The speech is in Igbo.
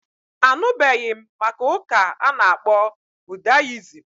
Anụbeghị m gbasara ụka a ana-akpọ budayism